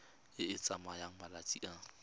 e e tsayang malatsi a